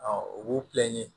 u b'u